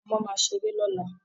Àwọn ọmọ máa ṣeré lọ́la